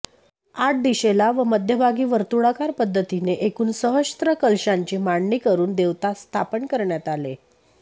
आठ दिशेला व मध्यभागी वर्तुळाकार पद्धतीने एकूण सहस्त्र कलशांची मांडणी करून देवता स्थापन करण्यात आले